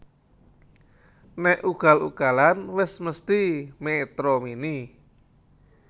Nek ugal ugalan wes mesthi Metro Mini